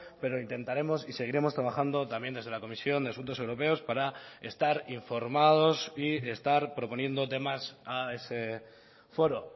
pero intentaremos y seguiremos trabajando también desde la comisión de asuntos europeos para estar informados y estar proponiendo temas a ese foro